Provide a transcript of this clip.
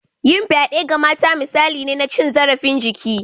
Yin fyade ga mata misali ne na cin zarafin jiki